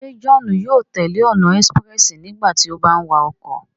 Se Johnu yóò tẹle ọna expréssi nígbàtí o bà ń wa ọkọ?